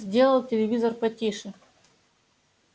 сделал телевизор потише